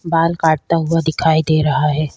बाल काटता हुआ दिखाई दे रहा है।